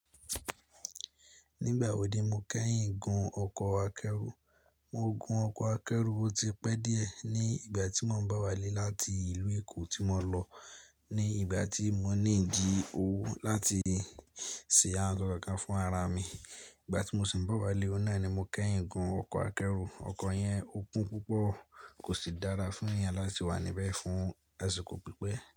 Nígbà wo ni mo kẹ́yìn gun ọkọ̀ akẹ́rù? Mo gun ọkọ̀ akẹ́rù tó ti pẹ́ díẹ̀ ní ìgbà tí mò ń bá wálé láti ìlú Èkó tí mo lọ ní ìgbà tí mo ní ń jí owó láti ṣe aṣọ kàn fún ara mi. Ìgbà tí mo sì ń bá wálé, ọ̀nà ni mo kẹ́yìn gun ọkọ̀ akẹ́rù. Ọkọ̀ yẹn ò kún púpọ̀, kò sì dára fún èèyàn láti wà níbẹ̀ fún àsìkò pípẹ́.